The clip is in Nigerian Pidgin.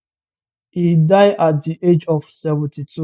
e die at di age of 72